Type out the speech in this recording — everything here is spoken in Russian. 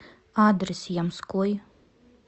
адрес ямской